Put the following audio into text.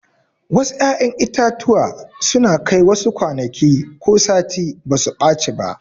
Wasu 'ya'yan itatuwa suna Kai wasu kwanaki ko sati basu ɓaci ba.